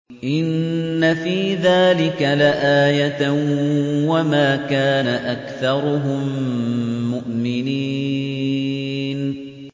إِنَّ فِي ذَٰلِكَ لَآيَةً ۖ وَمَا كَانَ أَكْثَرُهُم مُّؤْمِنِينَ